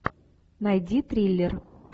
найди триллер